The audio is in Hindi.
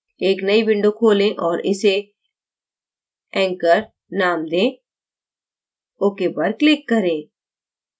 एक नई window खोलें और इसे anchor name दें ok पर click करें